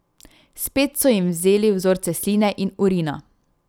Spet so jim vzeli vzorce sline in urina.